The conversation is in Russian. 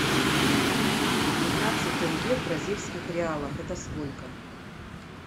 пятнадцать тенге в бразильских реалах это сколько